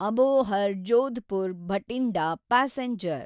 Abohar Jodhpur Bathinda passenger